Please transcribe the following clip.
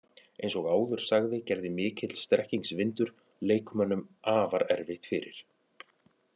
Eins og áður sagði gerði mikill strekkingsvindur leikmönnum afar erfitt fyrir.